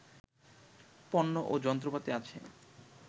পণ্য ও যন্ত্রপাতি আছে